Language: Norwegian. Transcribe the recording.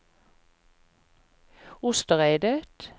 Ostereidet